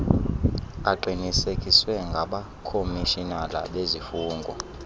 aqinisekiswe ngabakhomishinala bezifungo